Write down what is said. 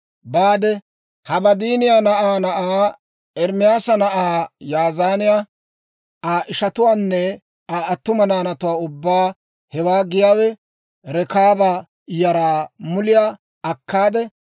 Baade, Habaadiiniyaa na'aa na'aa, Ermaasa na'aa Ya'azaaniyaa, Aa ishatuwaanne Aa attuma naanatuwaa ubbaa, hewaa giyaawe Rekaaba yaraa muliyaa akkaade,